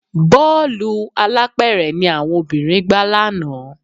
Bọ́ọ̀lù alápẹ̀rẹ̀ ni àwọn obìnrin gbá lánàá